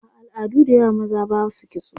a al'adu da yawa maza Basu kitso